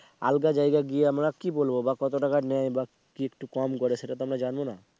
আলগা জায়গা কি আমরা কি বলবো বা কত টাকা নেয় বাকি একটু কম করো। সেটা তো আমরা জানবো না